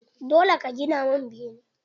Dole ka gina min bene!